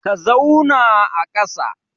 Ka zauna a kasa.